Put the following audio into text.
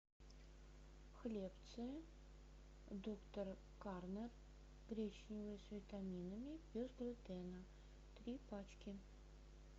хлебцы доктор корнер гречневые с витаминами без глютена три пачки